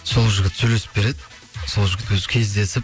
сол жігіт сөйлесіп береді сол жігіт өзі кездесіп